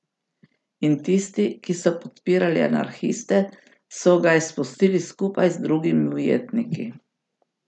In tisti, ki so podpirali anarhiste, so ga izpustili skupaj z drugimi ujetniki.